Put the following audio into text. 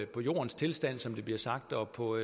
på jordens tilstand som det bliver sagt og på